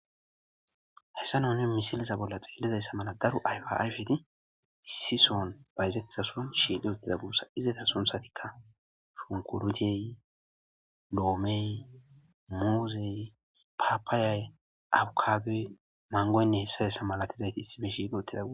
Haysa nuni misileza bolla xelizaysa mala daro ayfa ayfe ayfeti issi son shiiqi utida guusa izeta sunthatika shunkurutey , loomey , muuzey , papayay, abokadoy, mangoyinne hesa hesa malati issipe shiiqi utida guusa